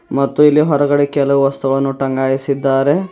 ಮತ್ತು ಇಲ್ಲಿ ಹೊರಗಡೆ ಕೆಲವು ವಸ್ತುಗಳನ್ನು ತಂಗಾಯಿಸಿದ್ದಾರೆ.